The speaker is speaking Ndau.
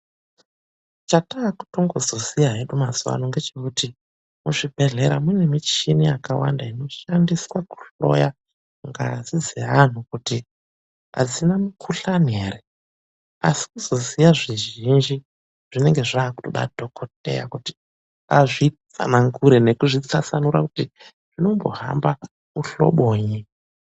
Chataakutongoziya hedu mazuva ano ngechekuti muzvibhedhlera mune michini yakawanda inoshandiswa kuhloya ngazi dzevanhu kuti adzina mukhuhlani ere. Asi kuzoziya zvizvinji zvinenge zvaakude dhokodheya kuti azvitsanangura nekutwasanura, kuti zvinombohambe muhlobonyi.